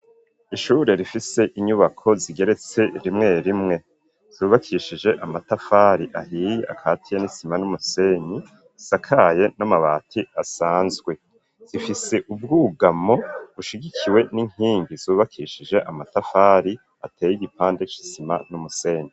Ishure rifise inyubako zigeretse rimwe rimwe, zubakishije amatafari ahiye akatiye n'isima n'umusenyi, asakaye n'amabati asanzwe, zifise ubwugamo bushigikiwe n'inkingi zubakishije amatafari ateye igipande c'isima n'umusenyi.